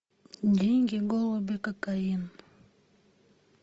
деньги голуби кокаин